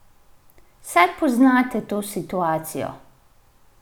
Saj poznate to situacijo?